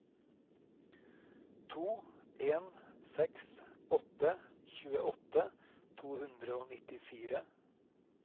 to en seks åtte tjueåtte to hundre og nittifire